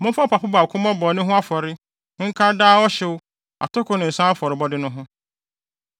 Momfa ɔpapo baako mmɔ bɔne ho afɔre nka daa ɔhyew, atoko ne nsa afɔrebɔde no ho.